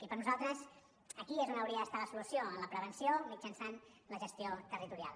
i per nosaltres aquí és on hauria d’estar la solució en la prevenció mitjançant la gestió territorial